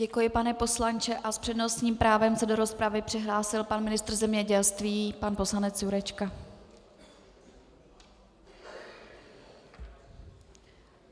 Děkuji, pane poslanče, a s přednostním právem se do rozpravy přihlásil pan ministr zemědělství, pan poslanec Jurečka.